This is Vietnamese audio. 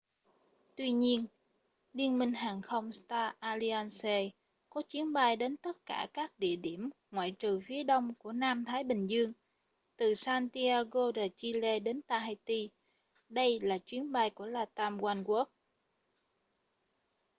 tuy nhiên liên minh hàng không star alliance có chuyến bay đến tất cả các địa điểm ngoại trừ phía đông của nam thái bình dương từ santiago de chile đến tahiti đây là chuyến bay của latam oneworld